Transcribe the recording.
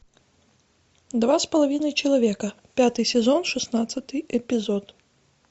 два с половиной человека пятый сезон шестнадцатый эпизод